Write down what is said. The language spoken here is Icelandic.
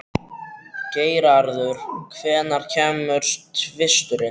Geirarður, hvenær kemur tvisturinn?